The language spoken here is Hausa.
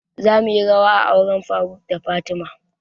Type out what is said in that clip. Za muyi rawa a auren faruk da fatima